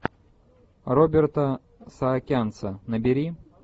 роберта саакянца набери